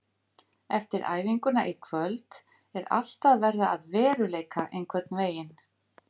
Eftir æfinguna í kvöld er allt að verða að veruleika einhvern veginn.